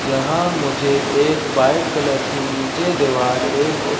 यहां मुझे एक व्हाइट कलर की नीचे देवाल एक--